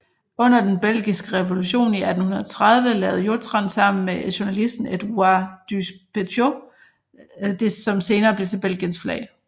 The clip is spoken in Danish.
Under den belgiske revolution i 1830 lavede Jottrand sammen med journalisten Edouard Ducpétiaux det som senere blev til Belgiens flag